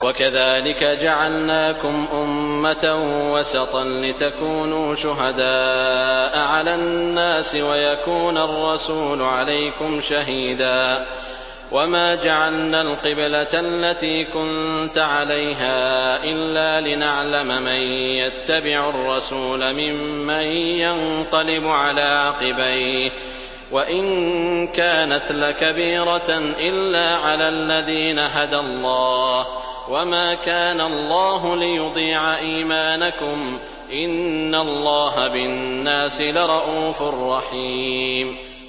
وَكَذَٰلِكَ جَعَلْنَاكُمْ أُمَّةً وَسَطًا لِّتَكُونُوا شُهَدَاءَ عَلَى النَّاسِ وَيَكُونَ الرَّسُولُ عَلَيْكُمْ شَهِيدًا ۗ وَمَا جَعَلْنَا الْقِبْلَةَ الَّتِي كُنتَ عَلَيْهَا إِلَّا لِنَعْلَمَ مَن يَتَّبِعُ الرَّسُولَ مِمَّن يَنقَلِبُ عَلَىٰ عَقِبَيْهِ ۚ وَإِن كَانَتْ لَكَبِيرَةً إِلَّا عَلَى الَّذِينَ هَدَى اللَّهُ ۗ وَمَا كَانَ اللَّهُ لِيُضِيعَ إِيمَانَكُمْ ۚ إِنَّ اللَّهَ بِالنَّاسِ لَرَءُوفٌ رَّحِيمٌ